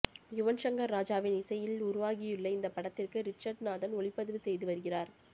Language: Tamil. யுவன் சங்கர் ராஜாவின் இசையில் உருவாகியுள்ள இந்த படத்திற்கு ரிச்சர்ட் நாதன் ஒளிப்பதிவு செய்து வருகிறார்